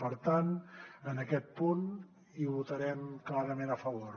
per tant en aquest punt hi votarem clarament a favor